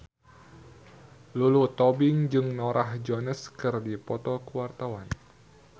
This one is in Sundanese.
Lulu Tobing jeung Norah Jones keur dipoto ku wartawan